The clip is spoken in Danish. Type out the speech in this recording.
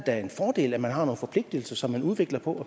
er en fordel at man har nogle forpligtelser som man udvikler og